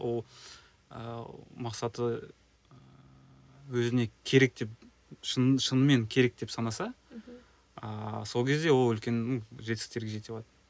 ол ыыы мақсаты ыыы өзіне керек деп шын шынымен керек деп санаса мхм ыыы сол кезде ол үлкен ну жетістіктерге жете алады